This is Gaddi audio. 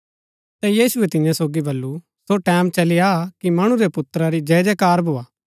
ता यीशुऐ तियां सोगी बल्लू सो टैमं चली आ की मणु रै पुत्रा री जय जयकार भोआ